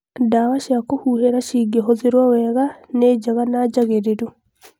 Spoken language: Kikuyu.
dawa cia kũhuhĩla cingĩhothĩrwo wega nĩ njega na njagĩrĩlu